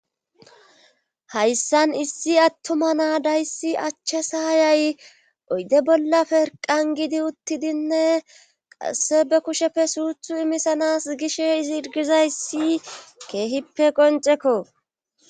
hayssan issi attuma naadayssi achche s aayay oyde bolla perqan giidi uttidinne qasse be kusheppe suuthu imisanas gish izi irgizayssi keehippe qoncekko